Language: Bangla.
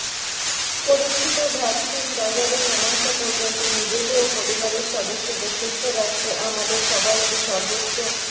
পরীক্ষিত ভ্যাক্সিন বাজারে না আসা পর্যন্ত নিজেকে ও পরিবারের সদস্যদের সুস্থ রাখতে আমাদের সবাইকে সর্বোচ্চ